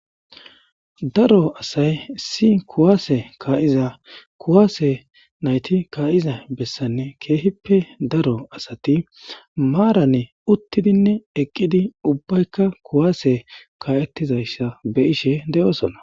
Daro asay si kuwaase kaa'iza kuwaase nayti kaa'iza bessanne keehippe daro asati maarane uttidinne eqqidi ubbaykka kuwaase kaa7ettizayssa be ishe de'oosona.